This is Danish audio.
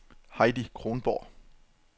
Heidi Kronborg